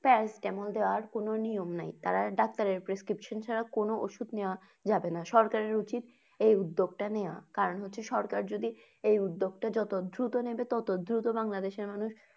paracetamol দেওয়ার কোনো নিয়ম নেই তারা doctor prescription ছাড়া কোনো ওষুধ নেওয়া যাবেনা সরকারের উচিত এই উদ্যোগটা নেওয়া। কারণ হচ্ছে সরকার যদি এই উদ্যোগটা যত দ্রুত নেবে ততো দ্রুত বাংলাদেশের মানুষ।